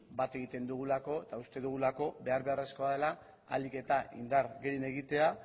bat egiten dugulako eta uste dugulako behar beharrezkoa dela ahalik eta indar gehien egitea